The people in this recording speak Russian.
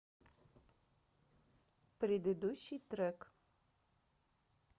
предыдущий трек